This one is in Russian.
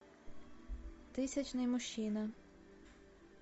тысячный мужчина